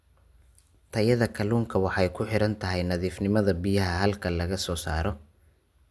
Tayada kalluunka waxay ku xidhan tahay nadiifnimada biyaha halka laga soo saaro.